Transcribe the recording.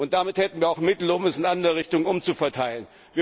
Und damit hätten wir auch Mittel, um sie in andere Richtungen umzuverteilen.